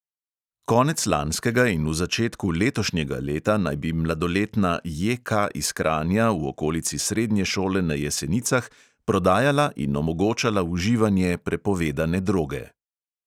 Konec lanskega in v začetku letošnjega leta naj bi mladoletna J K iz kranja v okolici srednje šole na jesenicah prodajala in omogočala uživanje prepovedane droge.